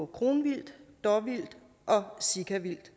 kronvildt dåvildt og sikavildt